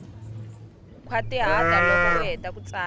khwatihata loko u heta ku tsala